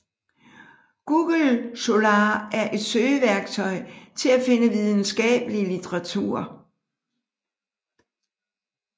Google Scholar er et søgeværktøj til at finde videnskabelig litteratur